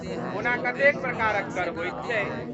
ओना कतेक प्रकारक कर होइत छै।